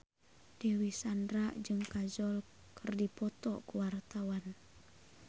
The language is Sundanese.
Dewi Sandra jeung Kajol keur dipoto ku wartawan